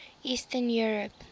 eastern europe